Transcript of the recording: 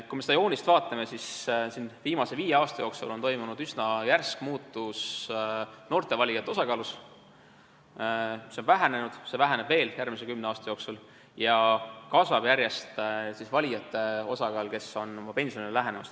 Kui me seda joonist vaatame, siis näeme, et viimase viie aasta jooksul on toimunud üsna järsk muutus noorte valijate osakaalus – see on vähenenud, see väheneb veel järgmise kümne aasta jooksul – ja järjest kasvab nende valijate osakaal, kes on pensionieale lähenemas.